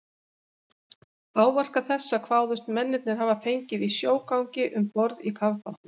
Áverka þessa kváðust mennirnir hafa fengið í sjógangi um borð í kafbátnum.